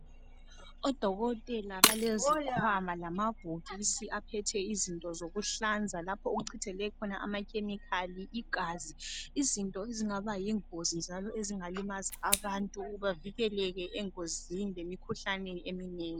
Odokotela balezikhwama lamabhokisi aphethe izinto zokuhlanza lapho okuchithekele khona ama chemical , igazi, izinto ezingaba yingozi njalo ezingalimaza abantu bavikeleke engozi lemikhuhlaneni eminengi.